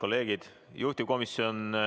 teile edu ja jõudu tööks komisjonides.